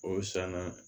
O sanna